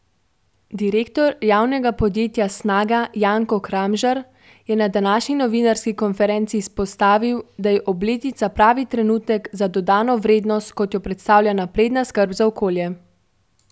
Direktor javnega podjetja Snaga Janko Kramžar je na današnji novinarski konferenci izpostavil, da je obletnica pravi trenutek za dodano vrednost, kot jo predstavlja napredna skrb za okolje.